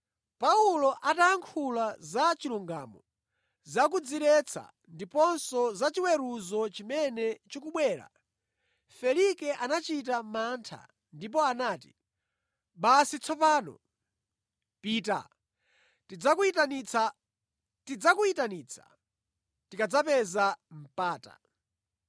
Paulo atayankhula za chilungamo, za kudziretsa ndiponso za chiweruzo chimene chikubwera, Felike anachita mantha ndipo anati, “Basi tsopano! Pita. Tidzakuyitanitsa tikadzapeza mpata.”